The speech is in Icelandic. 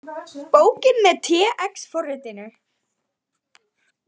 Bókin með TeX forritinu.